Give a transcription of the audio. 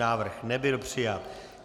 Návrh nebyl přijat.